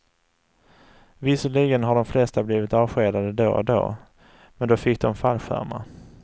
Visserligen har de flesta blivit avskedade då och då, men då fick dom fallskärmar.